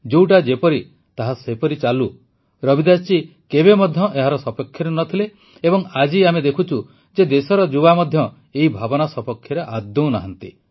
ଯୋଉଟା ଯେପରି ତାହା ସେପରି ଚାଲୁ ରବିଦାସ ଜୀ କେବେ ମଧ୍ୟ ଏହାରି ସପକ୍ଷରେ ନ ଥିଲେ ଏବଂ ଆଜି ଆମେ ଦେଖୁଛୁ ଯେ ଦେଶର ଯୁବା ମଧ୍ୟ ଏହି ଭାବନା ସପକ୍ଷରେ ଆଦୌ ନାହାନ୍ତି